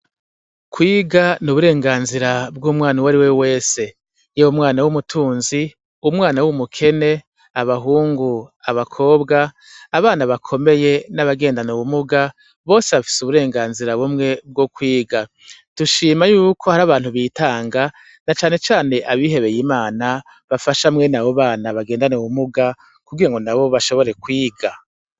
Kwiga n’uburenganzira bw’umwana uwariwe wese yaba umwana w’umutunzi, umwana w’umukene, abahungu, abakobwa, abana bakomeye n’abagendana ubumuga bose bafise uburenganzira bumwe bwo kwiga. Dushima yuko hari abantu bitanga na cane cane abihebeye imana bafasha mwene abo bana bangendana ubumuga kugira ngo nabo bashobore kwiga.